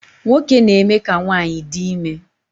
Nwoke na-eme ka nwanyị di ime